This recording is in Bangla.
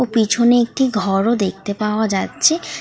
ও পিছনে একটি ঘর ও দেখতে পাওয়া যাচ্ছে।